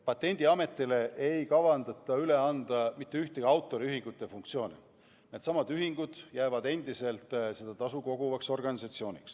Patendiametile ei kavandata üle anda mitte ühtegi autoriühingute funktsiooni, needsamad ühingud jäävad endiselt seda tasu koguma.